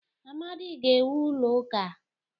Amadi ga-ewu ụlọ ụka.